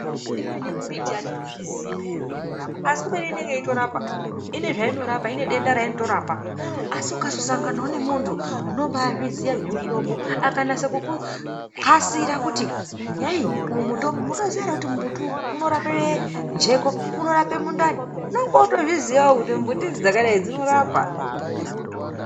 Imweni mbiti atito zviziyi peya zve inorapa asi kubeni inenge yeito rapa ine zvaino rapa ine denda raino rapa asi ukazo sanganawo ne muntu unombai zviziya zve mutombo aka nase kuku kasira kuti yei uyu mutombo munoziya ere kuti mbuti uyu unorape jeko uno rape mundani unonga woto zviziyawo kuti mbuti idzi dzakadai dzino rapa.